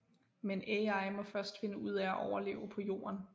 Men Ai må først finde ud af at overleve på Jorden